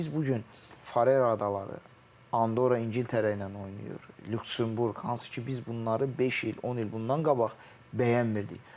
Biz bu gün Farer adaları, Andora İngiltərə ilə oynayır, Lüksemburq, hansı ki, biz bunları beş il, 10 il bundan qabaq bəyənmirdik.